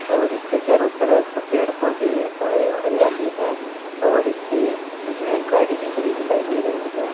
और इसके चारों तरफ पेड़ पौधे एवम हरियाली है और इसके इसमें गाड़ी भी खड़ी दिखाई दे रही है।